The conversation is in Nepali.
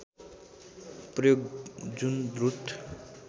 प्रयोग जुन द्रुत